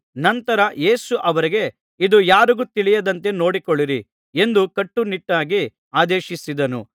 ನಂತರ ಯೇಸು ಅವರಿಗೆ ಇದು ಯಾರಿಗೂ ತಿಳಿಯದಂತೆ ನೋಡಿಕೊಳ್ಳಿರಿ ಎಂದು ಕಟ್ಟುನಿಟ್ಟಾಗಿ ಆದೇಶಿಸಿದನು